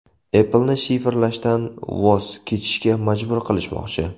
Apple’ni shifrlashdan voz kechishga majbur qilishmoqchi.